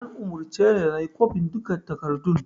An umurce ni da inyi kwafen duka takardun